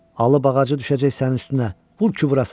Ağac da ağacı düşəcək sənin üstünə, vur ki vurasan.